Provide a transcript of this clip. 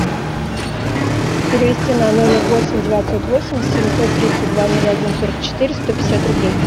перевести на номер восемь девятьсот восемь семьсот тридцать два ноль один сорок четыре сто пятьдесят рублей